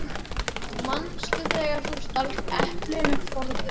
Manstu þegar þú stalst eplinu forðum?